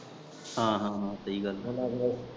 ਹਾਂ ਹਾਂ ਸਹੀ ਗੱਲ।